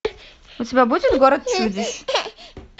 у тебя будет город чудищ